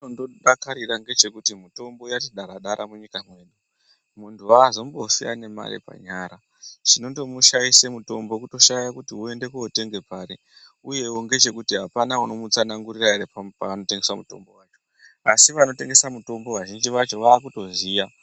Chondodakarira ndechokuti mitombo yati dara-dara munyika mwedu. Muntu haazombofi aine mare panyara chinondo mushaise mutombo kushaye kuti voenda kotenga pari, uyevo ndechekuti hapana ere unomutsana ngurura ere panotengeswa mutombo vacho. Asi vanotengesa mutombo vazhinji vacho vakutoziya.